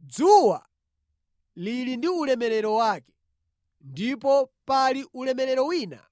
Dzuwa lili ndi ulemerero wake, ndipo pali ulemerero wina